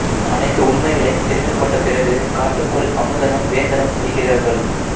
அனைத்து உண்மைகளைத் தெரிந்துகொண்ட பிறகு காட்டுக்குள் அமுதனும் வேந்தனும் செல்கிறார்கள்